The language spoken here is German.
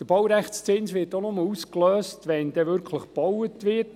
Der Baurechtszins wird auch nur ausgelöst, wenn tatsächlich gebaut wird.